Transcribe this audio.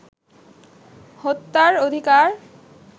হত্যার অধিকার